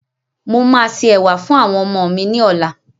Màá se ẹ̀wà fún àwọn ọmọ mi ní ọ̀la.